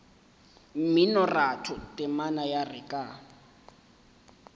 mminoratho temana ya re ka